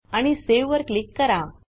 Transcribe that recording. आणि सावे वर क्लिक करा